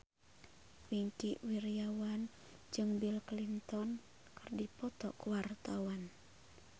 Wingky Wiryawan jeung Bill Clinton keur dipoto ku wartawan